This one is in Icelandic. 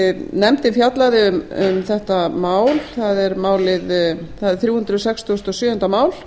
nefndin fjallaði um þetta mál það er þrjú hundruð sextugustu og sjöunda mál